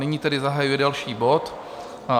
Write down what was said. Nyní tedy zahajuji další bod